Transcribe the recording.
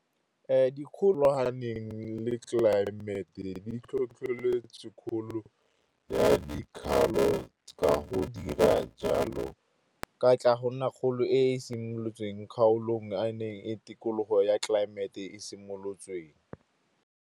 Dikgolwane le tlelaemete di tlhotlheletsa ya dikgaolo ka go dira jalo, ka tla go nna kgolo e e simolotsweng kgaolong a neng tikologo ya tlelaemete e simolotsweng.